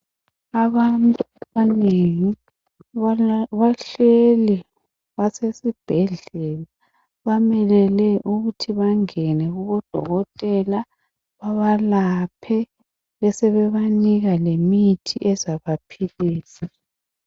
Abantu abanengi bahleli basesibhedlela bamelele ukuthi bangene kubodokotela babalaphe besebebanika lemithi ezabaphilisa.